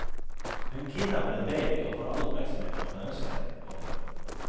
Hun kidnapper en baby og får all oppmerksomhet hun kan ønske seg. punktum